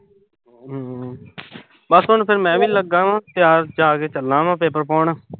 ਬਸ ਹੁਣ ਫਿਰ ਮੈਂ ਵੀ ਲੱਗਾ ਵਾਂ। ਤਿਆਰ ਜਾ ਕੇ ਚੱਲਾਂ ਮੈਂ ਪੇਪਰ ਪਾਉਣ